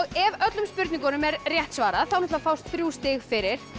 ef öllum spurningunum er rétt svarað þá fást þrjú stig fyrir